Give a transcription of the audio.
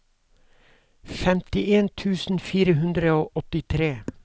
femtien tusen fire hundre og åttitre